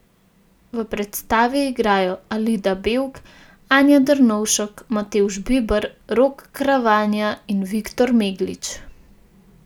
V predstavi igrajo Alida Bevk, Anja Drnovšek, Matevž Biber, Rok Kravanja in Viktor Meglič.